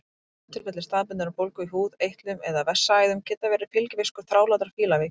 Bráðatilfelli staðbundinnar bólgu í húð, eitlum eða vessaæðum geta verið fylgifiskur þrálátrar fílaveiki.